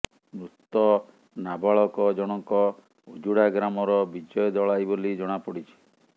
ମୃତ ନାବାଳକ ଜଣଙ୍କ ଉଜୁଡା ଗ୍ରାମର ବିଜୟ ଦଳାଇ ବୋଲି ଜଣାପଡିଛି